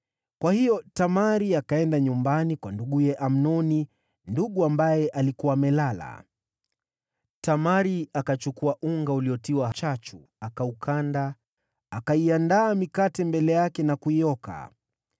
Kwa hiyo Tamari akaenda nyumbani kwa nduguye Amnoni, ndugu ambaye alikuwa amelala. Tamari akachukua unga uliotiwa chachu akaukanda, akaiandaa mikate mbele yake na kuioka.